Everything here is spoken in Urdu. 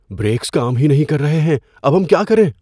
بریکس کام ہی نہیں کر رہے ہیں۔ اب ہم کیا کریں؟